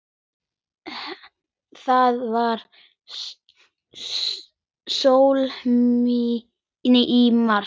Það var sól í mars.